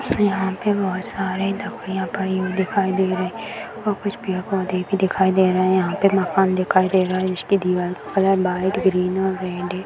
यहाँ पे बहुत सारे दवाईया पड़ी हुई दिखाई दे रही है और कुछ पेड़-पौधे भी दिखाई दे रहे है यहाँ पे मकान दिखाई दे रहा है जिसके दीवार की कलर व्हाइट ग्रीन और रेड है।